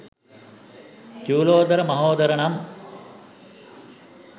චූලෝදර මහෝදර නම්